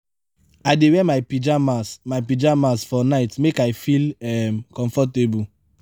i dey wear my pajamas my pajamas for night make i feel um comfortable.